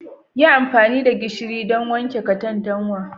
Yi amfani da gishiri don wanke katantanwa